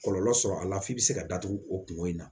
Kɔlɔlɔ sɔrɔ a la f'i bɛ se ka datugu o kunko in na